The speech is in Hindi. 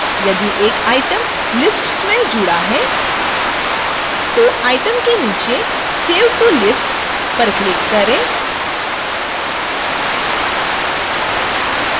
यदि एक item lists में जुड़ा है तो item के नीचे save to lists पर click करें